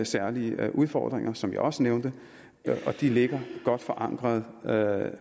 særlige udfordringer som jeg også nævnte og de ligger godt forankret